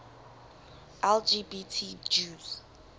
lgbt jews